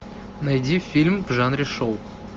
найди фильм в жанре шоу